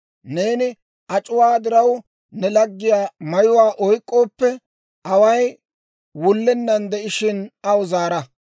Neeni ac'uwaa diraw ne laggiyaa mayuwaa oyk'k'ooppe, away wullenan de'ishshin aw zaara;